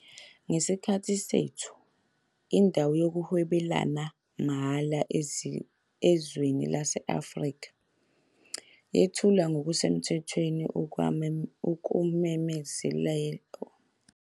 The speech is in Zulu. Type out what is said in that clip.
Ngesikhathi sethu, iNdawo Yokuhwebelana Mahhala Ezwenikazi lase-Afrika yethulwa ngokusemthethweni, okwakumemezela inkathi entsha yokuhwebelana ezwenikazi lase-Afrika kanye nokuhlanganyela kwezomnotho.